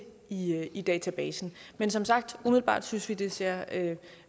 i i databasen men som sagt umiddelbart synes vi at det ser